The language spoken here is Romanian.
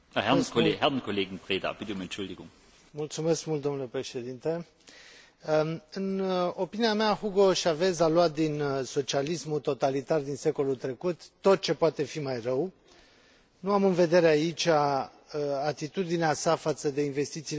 În opinia mea, Hugo Chávez a luat din socialismul totalitar din secolul trecut tot ce poate fi mai rău. Nu am în vedere aici atitudinea sa față de investițiile străine, care e, de bună seamă, și ea foarte problematică,